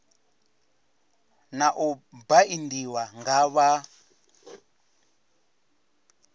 na u baindiwa nga vha